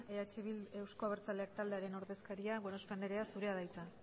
euzko abertzaleak taldearen ordezkaria gorospe andrea zurea da hitza